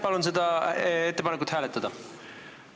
Palun seda ettepanekut hääletada!